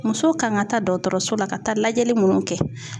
Muso kan ka taa dɔkɔtɔrɔso la, ka taa lajɛli munnu kɛ